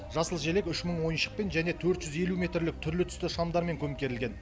жасыл желек үш мың ойыншықпен және төрт жүз елу метрлік түрлі түсті шамдармен көмкерілген